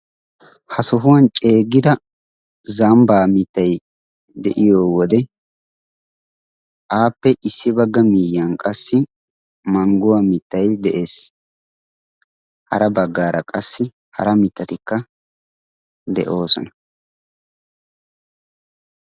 ha sohuwan ceeggida zambbaa mittay de'iyo wode aappe issi bagga miiyiyan qassi mangguwaa mittay de'ees hara baggaara qassi hara mittatikka de'oosona